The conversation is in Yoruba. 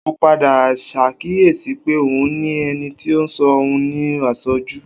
O padà ṣàkíyèsí pé òun ní ẹni tí ń ṣọ́ òun ní àṣọ́jù